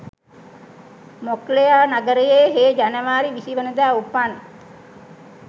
මොක්ලෙයා නගරයේ හේ ජනවාරි විසි වනදා උපන්